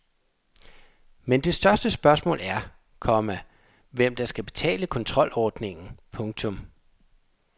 Men det største spørgsmål er, komma hvem der skal betale kontrolordningen. punktum